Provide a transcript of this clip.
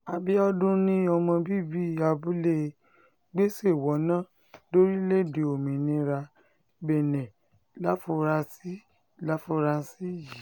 àbíọdún ni ọmọ bíbí abúlé gbéṣèwọ̀nà lórílẹ̀‐èdè olómìnira benne láforasí láforasí yìí